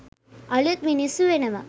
අළුත් මිනිස්සු වෙනවා.